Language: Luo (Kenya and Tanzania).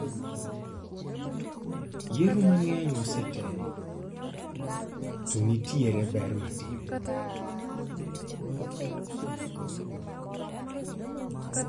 Yiero mang'eny osetem to nitiere ber matin